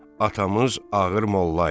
Atamız ağır mollaydı.